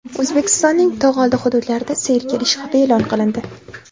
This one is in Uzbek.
O‘zbekistonning tog‘ oldi hududlarida sel kelishi xavfi e’lon qilindi.